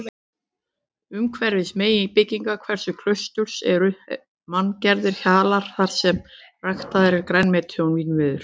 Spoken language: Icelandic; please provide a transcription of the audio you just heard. Kamilla brosti til hans þótt hana grunaði að hann myndi aldrei geta gengið almennilega óstuddur.